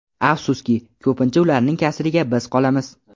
Afsuski, ko‘pincha ularning kasriga biz qolamiz.